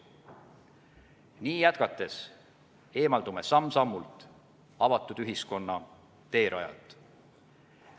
Nii jätkates eemaldume samm-sammult avatud ühiskonna teerajalt.